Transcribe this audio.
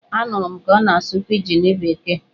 A nụrụ ka ọ na-asụ pijin bekee!